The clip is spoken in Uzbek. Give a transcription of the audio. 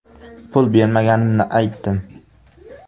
Pul bermaganimni aytdim.